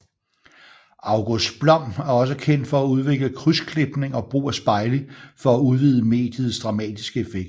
August Blom er også kendt for at udvikle krydsklipning og brug af spejle for at udvide mediets dramatiske effekt